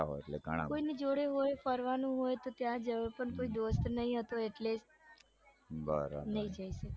આવો એટલે ઘણા બધા કોઈની જોડે ફરવાનું હોય તો કોઈ દોસ્ત નઈ હતો એટલે જ નઈ જઈ શકી